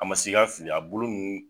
A ma si ka fili a bolo nunnu